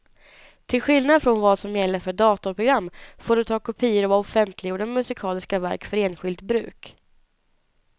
Till skillnad från vad som gäller för datorprogram får du ta kopior av offentliggjorda musikaliska verk för enskilt bruk.